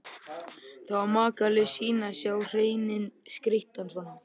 Það var makalaus sýn að sjá hreininn skreyttan svona.